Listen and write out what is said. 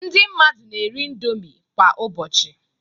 Ndị mmadụ na-eri indomi kwa ụbọchị